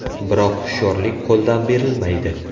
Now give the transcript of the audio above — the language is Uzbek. Biroq hushyorlik qo‘ldan berilmaydi.